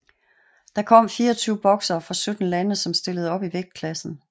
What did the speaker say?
Der kom 24 boksere fra 17 lande som stillede op i vægtklassen